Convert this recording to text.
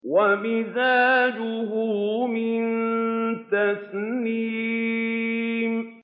وَمِزَاجُهُ مِن تَسْنِيمٍ